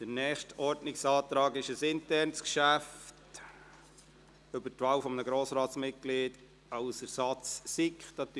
Der nächste Ordnungsantrag betrifft ein internes Geschäft, die Wahl eines Grossratsmitglieds als Ersatzmitglied